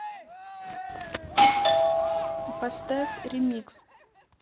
поставь ремикс